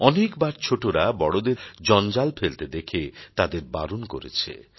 অনেকবার ছোটোরা বড়দের জঞ্জাল ফেলতে দেখে তাদের বারণ করেছে